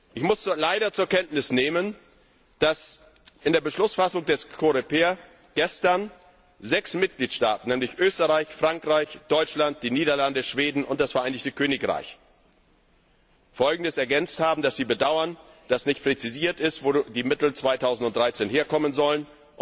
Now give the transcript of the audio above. Ich muss leider zur Kenntnis nehmen, dass in der Beschlussfassung des AStV gestern sechs Mitgliedstaaten, nämlich Österreich, Frankreich, Deutschland, die Niederlande, Schweden und das Vereinigte Königreich, ergänzt haben, dass sie bedauern, dass nicht präzisiert ist, wo die Mittel 2013 herkommen sollen.